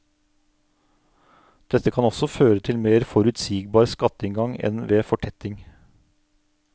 Dette kan også føre til mer forutsigbar skatteinngang enn ved fortetting.